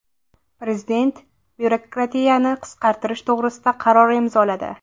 Prezident byurokratiyani qisqartirish to‘g‘risida qaror imzoladi.